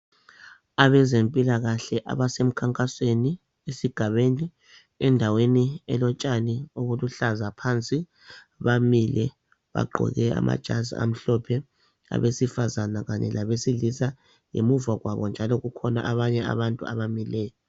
Abezempilakahle abasemkhankasweni esigabeni endaweni elotshani obuluhlaza phansi bamile bagqoke amajazi amhlophe abesifazana kanye labesilisa ngemuva kwabo njalo kukhona abanye abantu abamileyo.